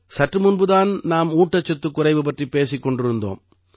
சற்று முன்பு தான் நாம் ஊட்டச்சத்துக் குறைவு பற்றிப் பேசிக் கொண்டிருந்தோம்